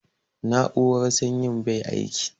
Na'urar sanyin bai aiki